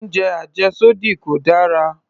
Oúnjẹ àjẹ́sódì kò dára